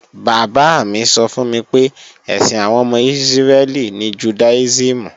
Bàbá mi sọ fún mi pé, ẹ̀sìn àwọn ọmọ Ísírẹ́lì ní Jùdáísìmù